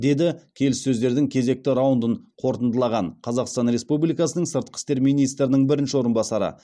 деді келіссөздердің кезекті раундын қорытындылаған қазақстан республикасының сыртқы істер министрінің бірінші орынбасары